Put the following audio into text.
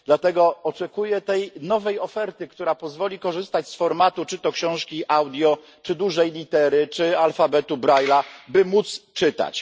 Dlatego oczekuję tej nowej oferty, która pozwoli korzystać z formatu czy to książki audio, czy dużej litery, czy alfabetu Braille'a, by móc czytać.